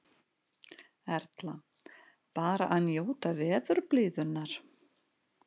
Erla: Bara að njóta veðurblíðunnar?